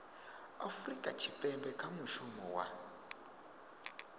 afurika tshipembe kha mushumo wa